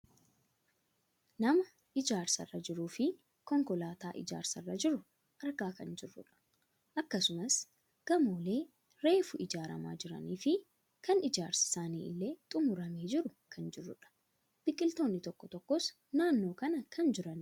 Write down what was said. nama ijaarsa irra jiruufi konkolaataa ijaarsa irra jiru argaa kan jirrudha. akkasumas gamoolee reefu ijaarramaa jiraniifi kan ijaarsi isaanii illee xummuramee jiru argaa kan jirrudha. biqiltoonni tokko tokkos naannoo kana kan jiranidha.